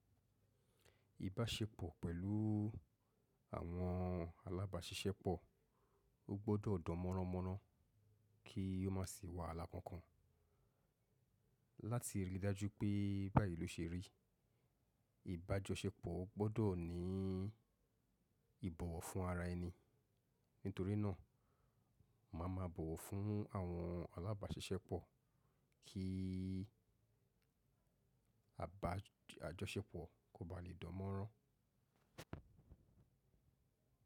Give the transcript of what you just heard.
Ìbáṣepọ̀ pẹ̀lú àwọn alábàáṣiṣẹ́pọ̀, ó gbọ́dọ̀ dán mọ́ránmọ́rán kí ó má sì wà láì kankan. Láti rí i dájú pé báyìí ló se rí, ìbájọṣepọ̀ gbọ́dọ̀ ní ìbọ̀wọ̀ fún ara ẹni. Nítorínà, màá ma bọ̀wọ̀ fún àwọn alábáṣiṣẹ́pọ̀ kí àbá–àjọṣepọ̀ kó ba lè dán mọ́rán.